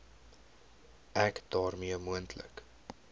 ek daarmee moontlike